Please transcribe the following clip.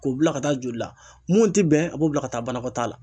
K'u bila ka taa joli la mun ti bɛn a b'o bila ka taa banakɔtaa la.